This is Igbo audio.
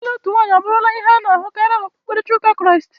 Ịlụ otu nwanyị abụrụla ihe a na-ahụkarị n'okpukperechi ụka Kraịst.